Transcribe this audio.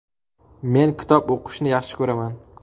Men kitob o‘qishni yaxshi ko‘raman.